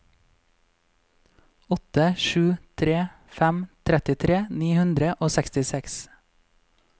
åtte sju tre fem trettitre ni hundre og sekstiseks